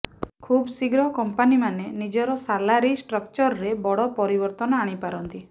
ଖବ୍ ଶୀଘ୍ର କଂପାନୀମାନେ ନିଜର ସାଲାରୀ ଷ୍ଟ୍ରକଚରରେ ବଡ ପରିବର୍ତ୍ତନ ଆଣିପାରନ୍ତି